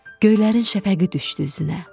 Göylərin şəfəqi düşdü üzünə.